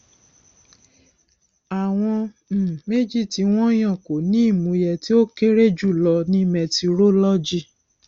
àwọn um méjì tí wọn yàn kò ní ìmúyẹ tí ó kéré jùlọ ní mẹtirolọgì